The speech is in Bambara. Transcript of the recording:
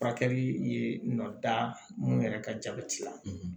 Furakɛli ye nɔ ta mun yɛrɛ ka jabɛti la